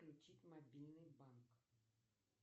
включить мобильный банк